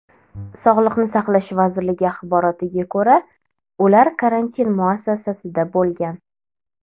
Sog‘liqni saqlash vazirligi axborotiga ko‘ra, ular karantin muassasasida bo‘lgan .